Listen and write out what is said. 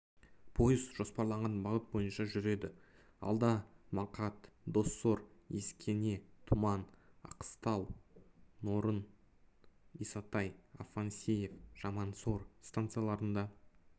пойыз жоспарланған бағыт бойынша жүреді алда мақат доссор ескене тұман аққыстау нарын исатай афанасьев жамансор станцияларында